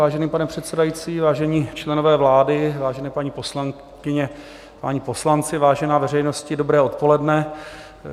Vážený pane předsedající, vážení členové vlády, vážené paní poslankyně, páni poslanci, vážená veřejnosti, dobré odpoledne.